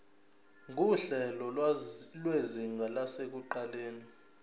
nguhlelo lwezinga lasekuqaleni